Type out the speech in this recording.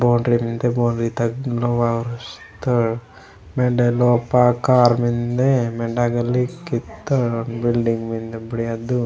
बॉउंड्री मेन्दे बॉउंड्री तगा लोहा उसतोड़ वेंडे ओगा कार मेन्दे वेंडे ओगा लिकीतोड़ ओंड बिल्डिंग मेन्दे बुड़ियादु।